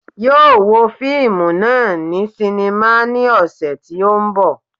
Yóò wo fíìmù náà ní sínímà ní ọ̀sẹ̀ tí ó ń bọ̀